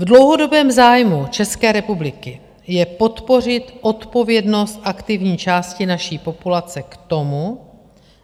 V dlouhodobém zájmu České republiky je podpořit odpovědnost aktivní části naší populace k tomu,